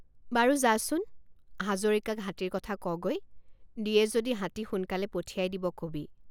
বাৰু যাচোন হাজৰিকাক হাতীৰ কথা কগৈ দিয়ে যদি হাতী সোনকালে পঠিয়াই দিব কবি।